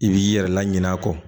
I b'i yɛrɛ la ɲinɛ a kɔ